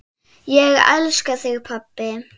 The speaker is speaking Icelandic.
Ég elska þig, pabbi.